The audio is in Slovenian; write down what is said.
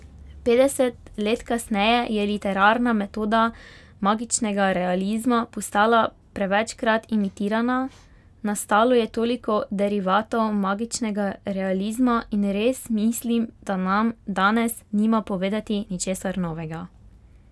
Petdeset let kasneje je literarna metoda magičnega realizma postala prevečkrat imitirana, nastalo je toliko derivatov magičnega realizma, in res mislim, da nam danes nima povedati ničesar novega.